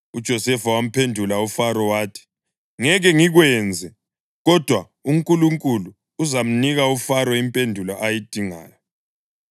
UJosefa wamphendula uFaro wathi, “Ngeke ngikwenze, kodwa uNkulunkulu uzamnika uFaro impendulo ayidingayo.”